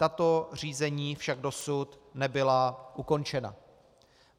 Tato řízení však dosud nebyla ukončena.